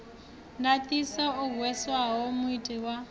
ndaṱiso o hweswaho muiti wa